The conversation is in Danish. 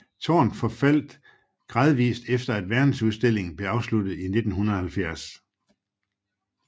Tårnet forfaldte gradvist efter at verdensudstillingen blev afsluttet i 1970